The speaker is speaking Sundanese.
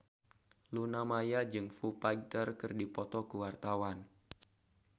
Luna Maya jeung Foo Fighter keur dipoto ku wartawan